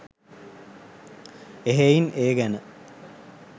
එහෙයින් ඒ ගැන